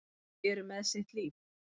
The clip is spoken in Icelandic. Þau eru með sitt líf.